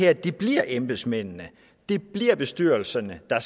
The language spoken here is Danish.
at det bliver embedsmændene at det bliver bestyrelserne der